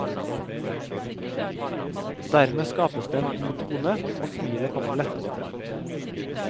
Dermed skapes det en god tone og smilet kommer lettere frem.